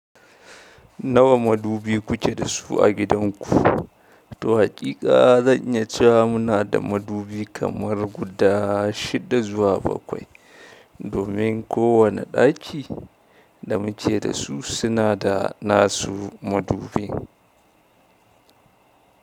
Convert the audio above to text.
Nawa madubi ku ke da su a gidanku? Toh haƙiƙa zan iya cewa muna da madubi kamar guda shida zuwa bakwai, domin kowane ɗaki da muke dasu suna da nasu madubin.